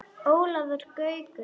Ólafur Gaukur